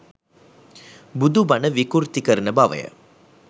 බුදු බණ විකෘති කරන බවය.